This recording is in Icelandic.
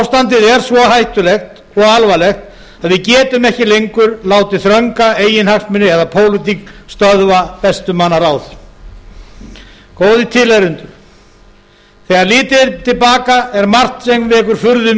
ástandið er svo hættulegt og alvarlegt að við getum ekki lengur látið þrönga eiginhagsmuni eða pólitík stöðva bestu manna ráð góðir tilheyrendur þegar litið er til baka er margt sem vekur furðu